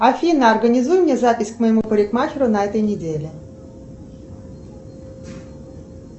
афина организуй мне запись к моему парикмахеру на этой неделе